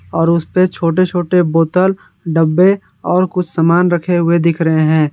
और उसपे छोटे छोटे बोतल डब्बे और कुछ सामान रखे हुए दिख रहे हैं।